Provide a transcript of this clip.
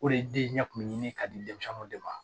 O de den ɲɛ kun bɛ ɲini ka di denmisɛnninw de ma